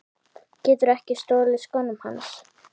Geturðu ekki stolið skónum hans